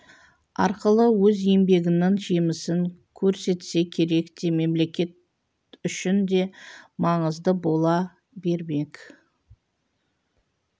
арқылы өз еңбегінің жемісін көрсетсе керек де мемлекет үшін де маңызды бола бермек